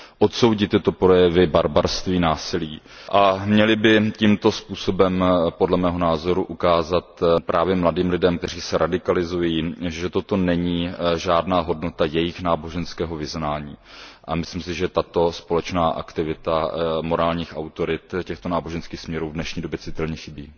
odsoudit tyto projevy barbarství a násilí a měly by tímto způsobem podle mého názoru ukázat právě mladým lidem, kteří se radikalizují, že toto není žádná hodnota jejich náboženského vyznání. A myslím si, že tato společná aktivita morálních autorit těchto náboženských směrů v dnešní době citelně chybí.